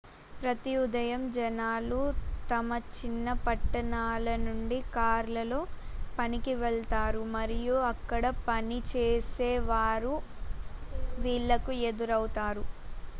ప్రతి ఉదయం జనాలు తమ చిన్న పట్టణాల నుండి కార్లలో పనికి వెళ్తారు మరియు అక్కడ పనిచేసే వారు వీళ్ళకు ఎదురవుతారు